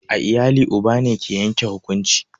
A iyali uba ne ke yanke hukunci